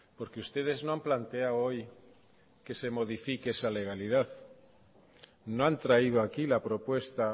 porque ustedes no han planteado hoy que se modifique esa legalidad no han traído aquí la propuesta